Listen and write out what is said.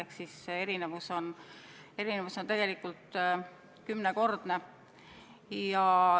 Ehk siis vahe on tegelikult kümnekordne.